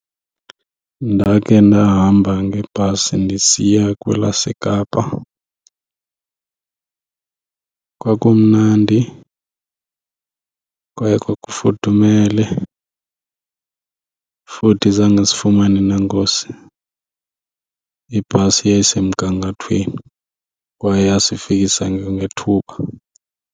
Ndakhe ndahamba ngebhasi ndisiya kwelaseKapa. Kwakumnandi kwaye kwafudumele, futhi zange sifumane nangoozi. Ibhasi yayisemgangathweni kwaye yasifikisa kwangethuba.